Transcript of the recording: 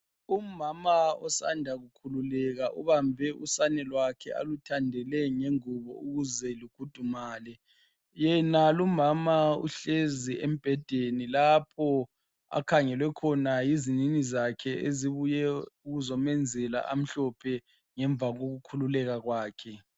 Umama osanda kukhululeka ubambe usane lwakhe aluthandele ngengubo ukuze lukhudumale. Yenalo umama uhlezi embhedeni lapho akhangelwe khona yizinini zakhe ezibuye ukuzomenzela amhlophe ngemva kokukhululeka kwakhe.